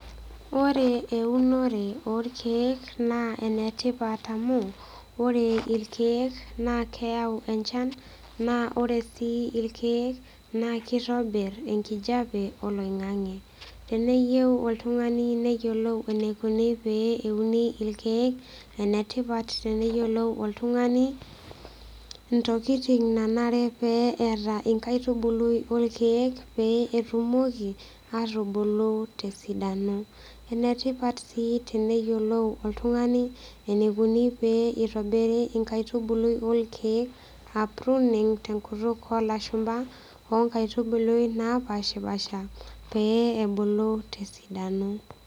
Ore eunore orkiek naa enetipat amu ore irkiek naa keyau enchan naa ore sii irkiek naa kitobir enkijape oloingange. Teneyieu oltungani neyiolou pee eneikoni pee euni irkiek, enetipat teneyiolou oltungani ntokitin nanare pee eeta enkaitubulu orkiek pee etumoki atubulu tesidano . Enetipat sii peyiolou oltungani enikoni pee itobiri nkaitubulu orkiek aa pruning tenkutuk olashumba , onkaitubului napashpasha pee ebulu tesidano.